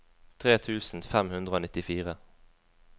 tre tusen fem hundre og nittifire